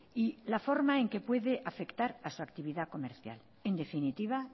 y la forma en que puede afectar a su actividad comercial en definitiva